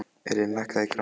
Elín, lækkaðu í græjunum.